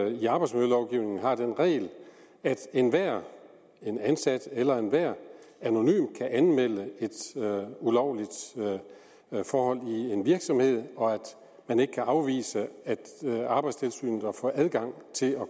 i arbejdsmiljølovgivningen har den regel at enhver ansat eller enhver anonym kan anmelde et ulovligt forhold i en virksomhed og at man ikke kan afvise arbejdstilsynet at få adgang til at